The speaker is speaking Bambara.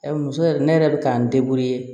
Muso yɛrɛ ne yɛrɛ bɛ k'an